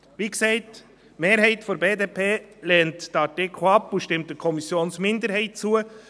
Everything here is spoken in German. Wie gesagt, die Mehrheit der BDP lehnt diesen Artikel ab und stimmt der Kommissionsminderheit zu.